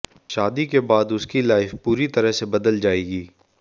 शादी के बाद उसकी लाइफ पूरी तरह से बदल जाएगी